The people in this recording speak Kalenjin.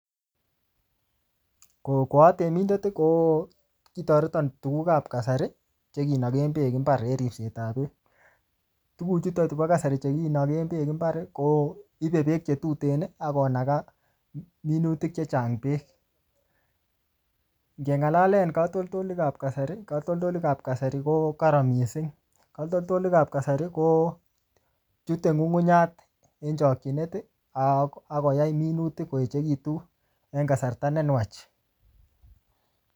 Koatemindet kitoreton tuguk ab kasari chekinoken beek mbaar en ripset ab beek amun ibe beek chetuten akonaga minutik chechang' beek ,ngeng'alalen katoltolik ab kasari ko koron missing amun chute ng'ungunyat en nyumnyumindo akoyai minutik koruryo en kasarta nenwach